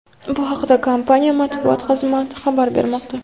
Bu haqda kompaniya Matbuot xizmati xabar bermoqda.